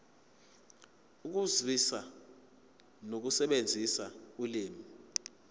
ukuzwisisa nokusebenzisa ulimi